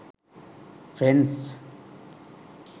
friends